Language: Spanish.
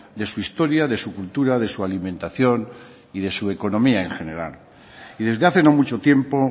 de su historia de su cultura de su alimentación y de su economía en general y desde hace no mucho tiempo